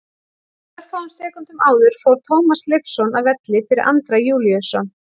Örfáum sekúndum áður fór Tómas Leifsson af velli fyrir Andra Júlíusson.